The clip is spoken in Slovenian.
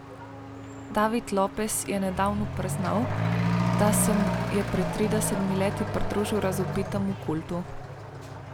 David Lopez je nedavno priznal, da se je pred tridesetimi leti pridružil razvpitemu kultu.